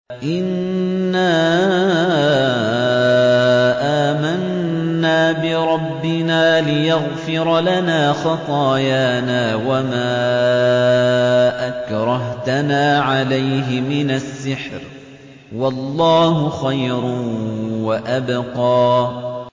إِنَّا آمَنَّا بِرَبِّنَا لِيَغْفِرَ لَنَا خَطَايَانَا وَمَا أَكْرَهْتَنَا عَلَيْهِ مِنَ السِّحْرِ ۗ وَاللَّهُ خَيْرٌ وَأَبْقَىٰ